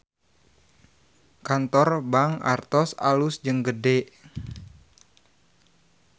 Kantor Bank Artos alus jeung gede